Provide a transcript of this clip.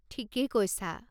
ঠিকেই কৈছা!